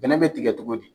Bɛnɛ bɛ tigɛ cogo di